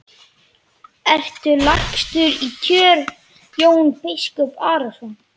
Ertu lagstur í kör Jón biskup Arason?